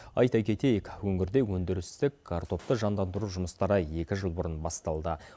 айта кетейік өңірде өндірістік картопты жандандыру жұмыстары екі жыл бұрын басталды